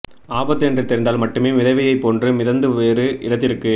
ஆபத்து என்று தெரிந்தால் மட்டுமே மிதவையைப் போன்று மிதந்து வேறு இடத்திற்கு